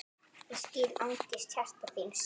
Ég skil angist hjarta þíns